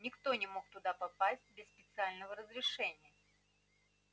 никто не мог туда попасть без специального разрешения